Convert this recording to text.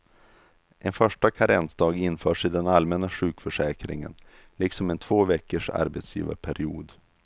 En första karensdag införs i den allmänna sjukförsäkringen, liksom en två veckors arbetsgivarperiod.